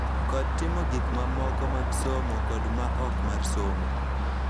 Kod timo gik mamoko mag somo kod ma ok mar somo,